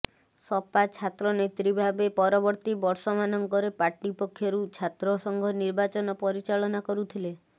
ସପା ଛାତ୍ରନେତ୍ରୀ ଭାବେ ପରବର୍ତ୍ତି ବର୍ଷମାନଙ୍କରେ ପାର୍ଟିପକ୍ଷରୁ ଛାତ୍ର ସଂଘ ନିର୍ବାଚନ ପରିଚାଳନା କରୁଥିଲେ